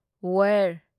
ꯋꯥꯢꯔ